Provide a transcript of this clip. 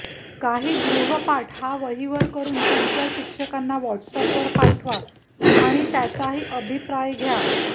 काही गृहपाठ हा वहीवर करून तुमच्या शिक्षकांना व्हॉट्सपवर पाठवा आणि त्यांचाही अभिप्राय घ्या